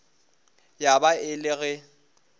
ya ba e le ge